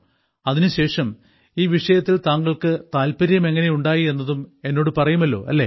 അതിനുശേഷം ഈ വിഷയത്തിൽ താങ്കൾക്ക് താല്പര്യം എങ്ങനെയുണ്ടായി എന്നതും എന്നോട് പറയുമല്ലോ അല്ലേ